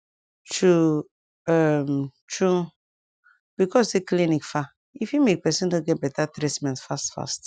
tru um tru becos say clinic far e fit make pesin no get beta treatment fast fast